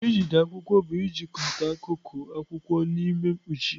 Ijide akwụkwọ bụ ịchịkọta akụkụ akwụkwọ n'ime mkpuchi.